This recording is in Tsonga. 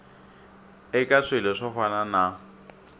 eka swilo swo fana na